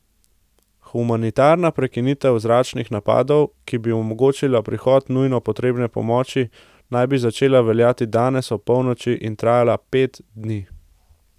Humanitarna prekinitev zračnih napadov, ki bi omogočila prihod nujno potrebne pomoči, naj bi začela veljati danes ob polnoči in trajala pet dni.